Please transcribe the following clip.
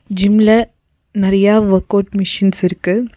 ஜிம்ல நறியா workout machines இருக்கு.